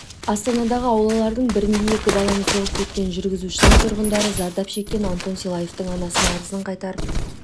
астанадағы аулалардың бірінде екі баланы соғып кеткен жүргізушісінің туғандары зардап шеккен антон силаевтың анасына арызын қайтарып